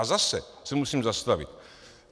A zase se musím zastavit.